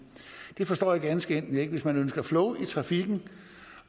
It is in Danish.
det forstår jeg ganske enkelt ikke hvis man ønsker flow i trafikken